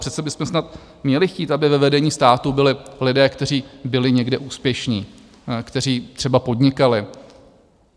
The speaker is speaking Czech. Přece byste snad měli chtít, aby ve vedení státu byli lidé, kteří byli někde úspěšní, kteří třeba podnikali.